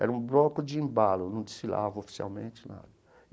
Era um bloco de embalo, não desfilava oficialmente nada.